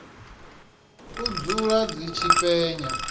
u dzula dzi tshi penya